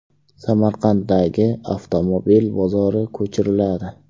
Samarqanddagi avtomobil bozori ko‘chiriladi.